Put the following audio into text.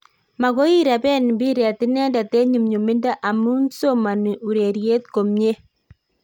Magoi ireben mpiret inendet en nyumnyumindo amun somoni ureriet komie